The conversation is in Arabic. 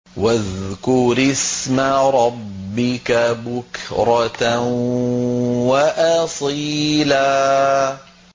وَاذْكُرِ اسْمَ رَبِّكَ بُكْرَةً وَأَصِيلًا